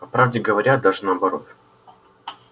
по правде говоря даже наоборот